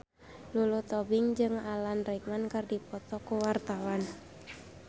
Lulu Tobing jeung Alan Rickman keur dipoto ku wartawan